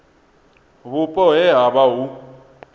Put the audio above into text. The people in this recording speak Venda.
vhupo he ha vha hu